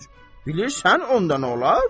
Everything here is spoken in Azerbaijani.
Bilirsən onda nə olar?